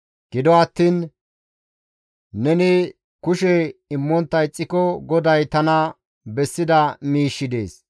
Gido attiin neni kushe immontta ixxiko GODAY tana bessida miishshi dees.